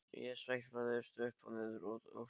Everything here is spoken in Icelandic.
Ég sveiflast upp og niður, út og suður.